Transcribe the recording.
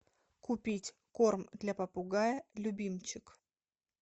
купить корм для попугая любимчик